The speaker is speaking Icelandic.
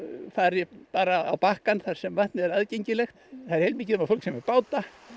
fari bara á bakkann þar sem vatnið er aðgengilegt það er heilmikið um að fólk sé með báta